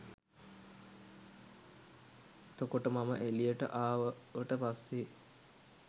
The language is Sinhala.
එතකොට මම එළියට ආවට පස්සේ